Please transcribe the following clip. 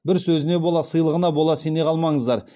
бір сөзіне бола сыйлығына бола сене қалмаңыздар